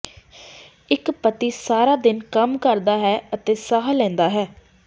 ਇੱਕ ਪਤੀ ਸਾਰਾ ਦਿਨ ਕੰਮ ਕਰਦਾ ਹੈ ਅਤੇ ਸਾਹ ਲੈਂਦਾ ਹੈ